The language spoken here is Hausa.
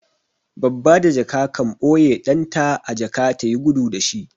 Babba da jaka kan ɓoye ɗan ta a jaka ta yi gudu da shi.